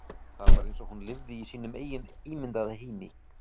Það var eins og hún lifði í sínum eigin ímyndaða heimi.